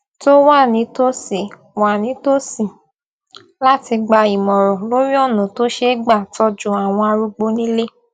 tó wà nítòsí wà nítòsí láti gba ìmòràn lórí ònà tó ṣeé gbà tójú àwọn arúgbó nílé